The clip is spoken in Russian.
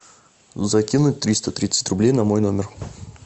закинуть триста тридцать рублей на мой номер